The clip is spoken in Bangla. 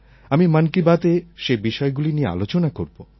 আমি মন কি বাতএ সেই বিষয়গুলি নিয়ে আলোচনা করব